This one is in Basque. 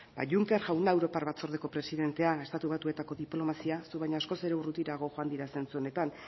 ba juncker jauna europar batzordeko presidentea estatu batuetako diplomazia zu baino askoz urrutirago joan dira zentzu honetan